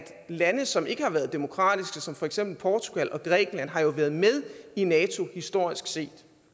lande som ikke har været demokratiske som for eksempel portugal og grækenland jo har været med i nato historisk set